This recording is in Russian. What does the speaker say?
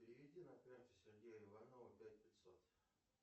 переведи на карту сергея иванова пять пятьсот